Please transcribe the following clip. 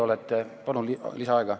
Kolm minutit lisaaega.